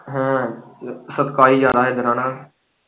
ਹੈਅ ਸਖਤਾਈ ਜ਼ਿਆਦਾ ਏ ਨਾ ਫੇਰ ਹੈਨਾ।